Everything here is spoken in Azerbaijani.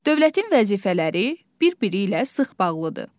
Dövlətin vəzifələri bir-biri ilə sıx bağlıdır.